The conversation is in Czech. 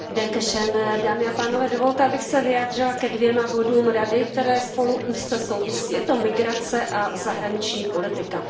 Pane předsedající, dovolte, abych se vyjádřila ke dvěma bodům Rady, které spolu úzce souvisí. Je to migrace a zahraniční politika.